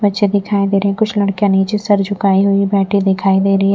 बच्चे दिखाई दे रहे हैं कुछ लड़कियां नीचे सर झुकाई हुई बैठी दिखाई दे रही है।